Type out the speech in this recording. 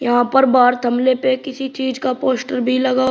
यहां पर बाहर थमले पे किसी चीज का पोस्टर भी लगा --